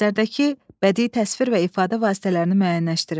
Əsərdəki bədii təsvir və ifadə vasitələrini müəyyənləşdirin.